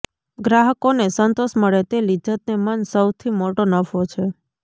ગ્રાહકોને સંતોષ મળે તે લિજ્જતને મન સૌથી મોટો નફો છે